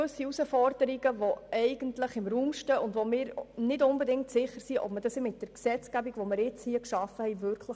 Es stehen gewisse Herausforderungen im Raum, die unserer Meinung nach mit der jetzt geschaffenen Gesetzgebung voraussichtlich nicht umgesetzt werden können.